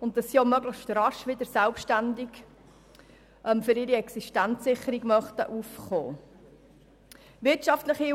und dass sie auch möglichst rasch wieder selbstständig für ihre Existenzsicherung aufkommen möchten.